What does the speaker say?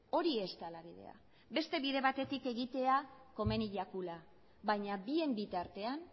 hori ez dela bidea beste bide batetik egitea komeni jakula baina bien bitartean